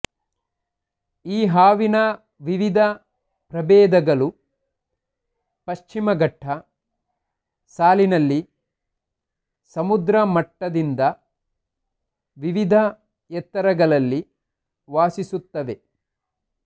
ಈ ಹಾವಿನ ವಿವಿಧ ಪ್ರಭೇಧಗಳು ಪಶ್ಚಿಮ ಘಟ್ಟ ಸಾಲಿನಲ್ಲಿ ಸಮುದ್ರ ಮಟ್ಟದಿಂದ ವಿವಿಧ ಎತ್ತರಗಳಲ್ಲಿ ವಾಸಿಸುತ್ತವೆ